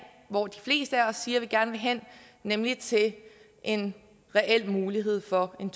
hvor de fleste af os siger at vi gerne vil hen nemlig til en reel mulighed for en